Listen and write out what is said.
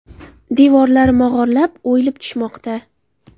Devorlari mog‘orlab, o‘yilib tushmoqda”.